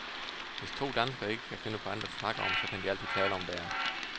Hvis to danskere ikke kan finde på andet at snakke om, så kan de altid tale om vejret.